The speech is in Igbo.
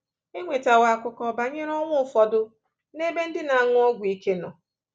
E nwetawo akụkọ banyere ọnwụ ụfọdụ n'ebe ndị na-anwụ ọgwụ ike nọ.